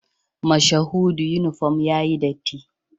Mashahudu uniform yayi datti